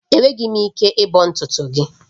Enweghị m ike ịbọ ntutu gị